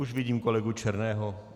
Už vidím kolegu Černého.